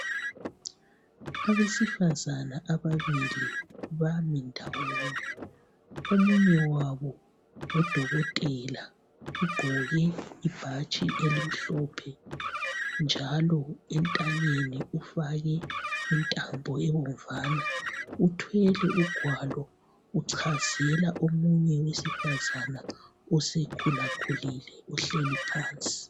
Abesifazana ababili bami ndawonye omunye wabo ngu dokotela ugqoke ibhatshi elimhlophe njalo entanyeni ufake intambo ebomvana uthwele ugwalo uchazela omunye wesifazana osekhulile ohleli phansi.